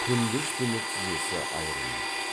күндіз түні тізесі айрылмайды